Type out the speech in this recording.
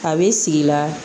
A b'i sigi la